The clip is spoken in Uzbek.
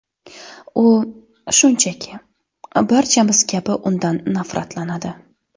U, shunchaki, barchamiz kabi undan nafratlanadi”.